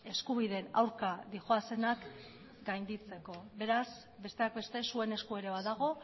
eskubideen aurka doazenak gainditzeko beraz besteak beste zuen esku ere badago